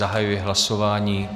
Zahajuji hlasování.